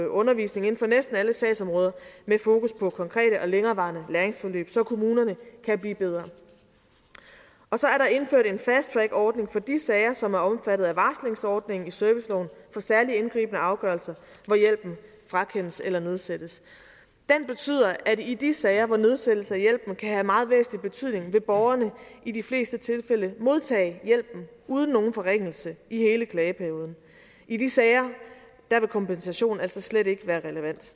undervisning inden for næsten alle sagsområder med fokus på konkrete og længerevarende læringsforløb så kommunerne kan blive bedre og så er der indført en fasttrackordning for de sager som er omfattet af varslingsordningen i serviceloven for særlig indgribende afgørelser hvor hjælpen frakendes eller nedsættes den betyder at i de sager hvor nedsættelse af hjælpen kan have meget væsentlig betydning vil borgerne i de fleste tilfælde modtage hjælpen uden nogen forringelse i hele klageperioden i de sager vil kompensation altså slet ikke være relevant